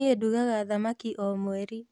Niĩ ndugaga thamaki o mweri